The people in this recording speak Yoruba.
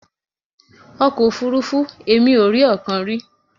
Ọkọ̀ òfuurufú! Èmi ò rí ọ̀kan rí.